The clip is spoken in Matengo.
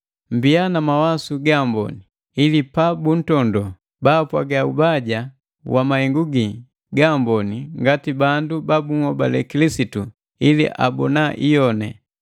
Mmbiya na mawasu gaamboni, ili pa buntondoo, baapwaga ubaja wa mahengu gii gaamboni ngati bandu ba bunhobale Kilisitu ili abona iyoni.